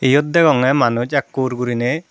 iyot deyongey manuj ekkur guriney.